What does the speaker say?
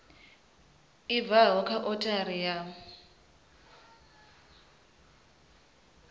i bvaho kha othari ya